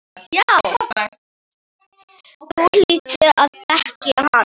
Þú hlýtur að þekkja hann.